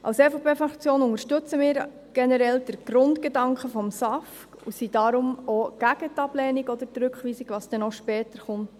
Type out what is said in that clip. Die EVP-Fraktion unterstützt generell den Grundgedanken des SAFG und ist deshalb auch gegen die Ablehnung oder die Rückweisung, die dann später noch kommt.